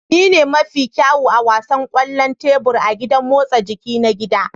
Ni ne mafi kyawu a wasan kwallon tebur a gidan motsa jiki na gida